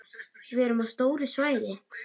Við erum á stóru svæði.